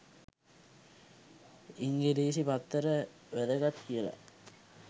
ඉංගිරිසි පත්තර වැදගත් කියලා.